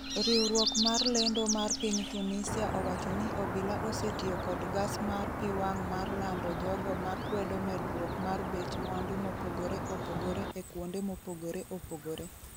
riwruok mar lendo mar piny Tunisia owacho ni obila osetiyo kod gas mar pi wang' mar lando jogo ma kwedo medruok mar bech mwandu mopogre opogre e kuonde mopogore opogore.